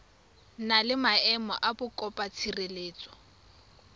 na le maemo a mokopatshireletso